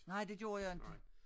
Nej det gjorde jeg inte